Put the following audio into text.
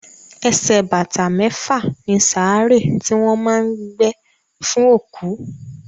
Ẹsẹ̀ bàtà mẹ́fà ni sàárè tí wọ́n má a ń gbé fún òkú.